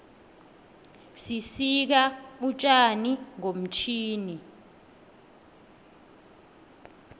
sisika utjani ngomtjhini